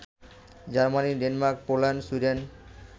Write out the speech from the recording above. Germany, Denmark, Poland, Sweden